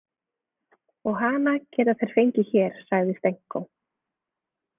Og hana geta þeir fengið hér, sagði Stenko.